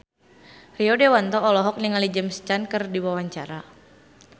Rio Dewanto olohok ningali James Caan keur diwawancara